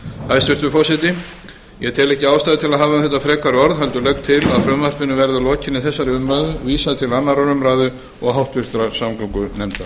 hæstvirtur forseti ég tel ekki ástæðu til að hafa um þetta frekari orð heldur legg til að frumvarpinu verði að lokinni þessari umræðu vísað til annarrar umræðu og háttvirtrar samgöngunefndar